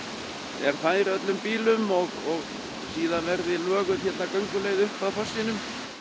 er fær öllum bílum og síðan verði löguð hérna gönguleið upp að fossinum